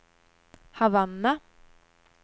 Havanna